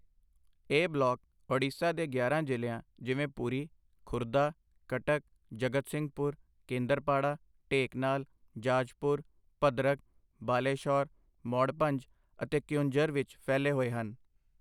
ਇਹ ਬਲਾਕ ਓਡੀਸ਼ਾ ਦੇ ਗਿਆਰਾਂ ਜ਼ਿਲ੍ਹਿਆਂ, ਜਿਵੇਂ ਪੁਰੀ, ਖੁਰਦਾ, ਕਟਕ, ਜਗਤ ਸਿੰਘਪੁਰ, ਕੇਂਦਰਪਾੜਾ, ਢੇਂਕਨਾਲ, ਜਾਜਪੁਰ, ਭੱਦਰਕ, ਬਾਲੇਸ਼ੌਰ, ਮੌੜਭੰਜ ਅਤੇ ਕਿਓਂਝਰ ਵਿੱਚ ਫੈਲੇ ਹੋਏ ਹਨ।